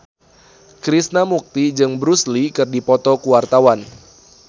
Krishna Mukti jeung Bruce Lee keur dipoto ku wartawan